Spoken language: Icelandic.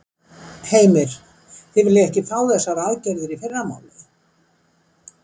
Heimir: Þið viljið ekki fá þessar aðgerðir í fyrramálið?